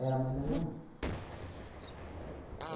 Era a mãe da minha mãe.